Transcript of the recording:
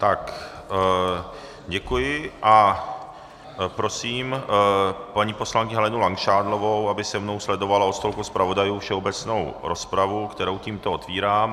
Tak děkuji a prosím paní poslankyni Helenu Langšádlovou, aby se mnou sledovala od stolku zpravodajů všeobecnou rozpravu, kterou tímto otvírám.